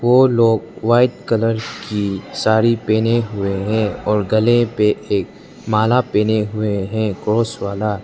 वो लोग white colour की साड़ी पहने हुए हैं और गले पे एक माला पहने हुए हैं क्रॉस वाला।